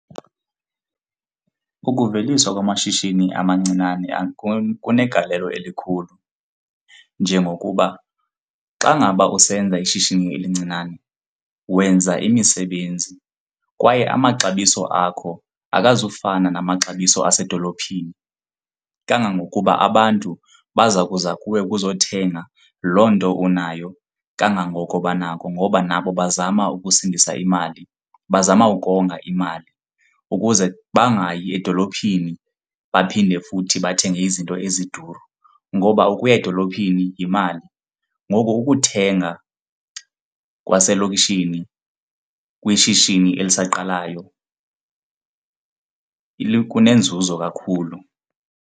Ukuveliswa kwamashishini amancinane kunegalelo elikhulu njengokuba xa ngaba usenza ishishini elincinane, wenza imisebenzi kwaye amaxabiso akho akazufana namaxabiso esedolophini. Kangangokuba abantu baza kuza kuwe kuzothengwa loo nto unayo kangangoko banako ngoba nabo bazama ukusindisa imali, bazama ukonga imali ukuze bangayi edolophini baphinde futhi bathenge izinto eziduru ngoba ukuya edolophini yimali. Ngoko ukuthenga kwaselokishini kwishishini elisaqalayo kunenzuzo kakhulu.